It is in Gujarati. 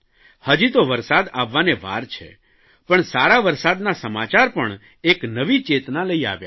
હજી તો વરસાદ આવવાને વાર છે પણ સારા વરસાદના સમાચાર પણ એક નવી ચેતના લઇ આવ્યા